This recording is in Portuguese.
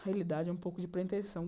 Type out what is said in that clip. Realidade é um pouco de pretensão.